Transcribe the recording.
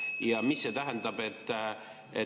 Ja mida see tähendab?